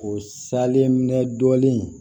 O salen minɛ dɔɔnin